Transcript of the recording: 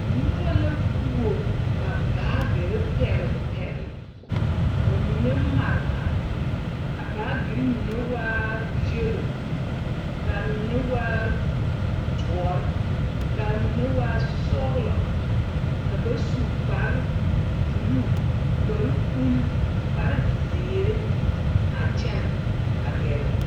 Noba wuo ba baagere pԑgele pԑgele, ka ba mine mare mare. A baagere mine waa yԑlo ka a mine waa dõͻre, ka a mine waa sͻgelͻ. Ka ba su kpare buluu, kpare uli, kpare zeere a kyԑnԑ gԑrԑ.